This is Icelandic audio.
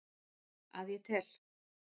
Að ég tel.